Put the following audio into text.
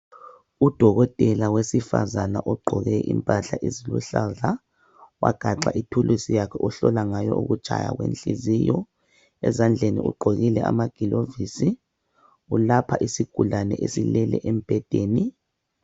Udokotela wesifazane ogqoke impahla eziluhlaza wagaxa ithulusi yakhe ahlola ngayo ukutshaya kwenhliziyo ezandleni ugqokile amagilovisi ulapha isigulane esilele embhedeni.